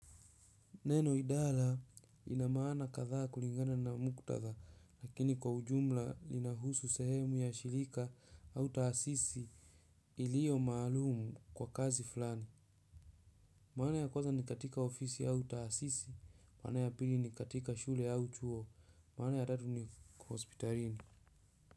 Neno idara ina maana kadhaa kulingana na muktatha lakini kwa ujumla linahusu sehemu ya shirika au taasisi iliyo maalum kwa kazi fulani. Maana ya kwanza ni katika ofisi au taasisi, maana ya pili ni katika shule au chuo, maana ya tatu ni hospitalini.